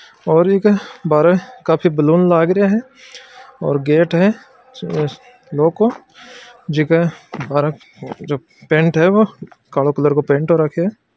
और इक बाहर काफी बलून लग रहे है और गेट है जो पेंट है वो काला कलर का पेंट हो रखा है।